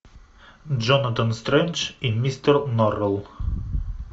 джонатан стрендж и мистер норрелл